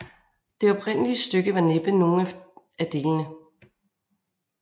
Det oprindelige stykke var næppe nogen af delene